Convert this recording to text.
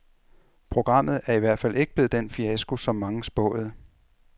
Programmet er i hvert fald ikke blevet den fiasko, som mange spåede.